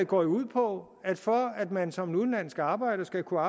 går jo ud på at for at man som udenlandsk arbejder skal kunne